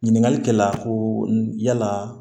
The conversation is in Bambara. Ɲininkali kɛ la koo yala